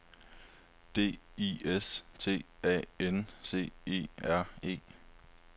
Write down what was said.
D I S T A N C E R E